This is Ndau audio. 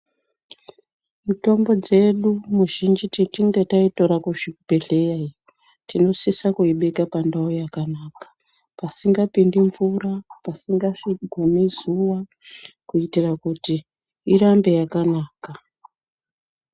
Mitombo dzedu muzhinji tichinge taitora kuzvibhedhleya tinosise kuibeka pandau yakanaka pasingapindi mvura pasinga gumi zuwa kuitira kuti irambe yakanaka.